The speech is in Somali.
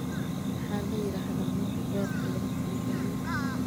Maxaa la yiraahdaa marka beerta lagu sii daayo?